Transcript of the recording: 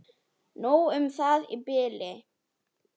Nóg um það í bili.